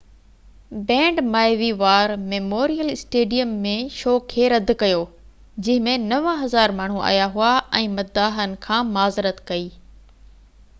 band Maui War Memorial Stadium ۾ show کي رد ڪيو جنهن ۾ 9000 ماڻهو آيا هئا ۽ مداحن کان معذرت ڪئي